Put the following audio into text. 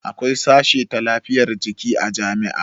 Akwai sashe ta lafiyar jiki a jami'a